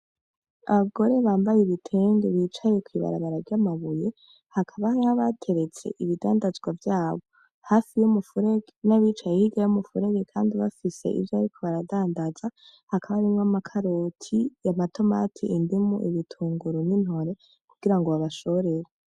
Abagore bambaye ibitenge bicaye kw’ibarabara ry’amabuye hakaba hariho abateretse ibidandazwa vyabo, hafi y’umuferege nabicaye hirya y’umuferege Kandi bafise ivyo bariko baradandaza hakaba harimwo: amakaroti, amatomati, indimu, ibitunguru n’intore kugirango babashorere.